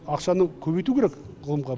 ақшаны көбейту керек ғылымға